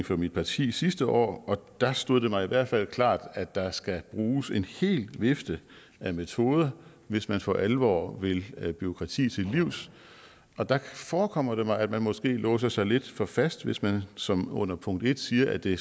for mit parti sidste år og der stod det mig i hvert fald klart at der skal bruges en hel vifte af metoder hvis man for alvor vil bureaukrati til livs og der forekommer det mig at man måske låser sig lidt for fast hvis man som under punkt en siger at det